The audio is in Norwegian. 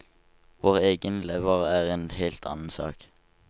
Vår egen lever er en helt annen sak.